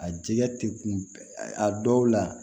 A jɛgɛ tɛ kun a dɔw la